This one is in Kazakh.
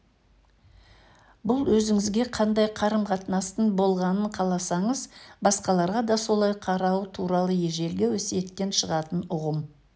бұл өзіңізге қандай қарым-қатынастың болғанын қаласаңыз басқаларға да солай қарау туралы ежелгі өсиеттен шығатын ұғым